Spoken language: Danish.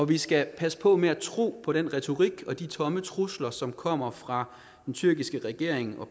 vi skal passe på med at tro på den retorik og de tomme trusler som kommer fra den tyrkiske regering og